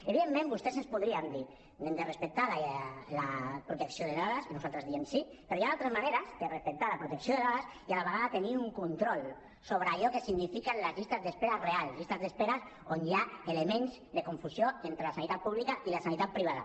evidentment vostès ens podrien dir hem de respectar la protecció de dades i nosaltres diem sí però hi han altres maneres de respectar la protecció de dades i a la vegada tenir un control sobre allò que signifiquen les llistes d’espera reals llistes d’espera on hi ha elements de confusió entre la sanitat pública i la sanitat privada